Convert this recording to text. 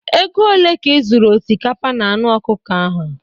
Ego ole ka ị zụrụ osikapa na anụ ọkụkọ ahụ?